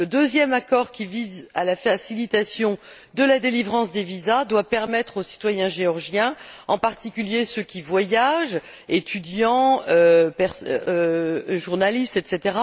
Le deuxième accord qui vise la facilitation de la délivrance des visas doit permettre aux citoyens géorgiens, en particulier ceux qui voyagent étudiants, journalistes, etc.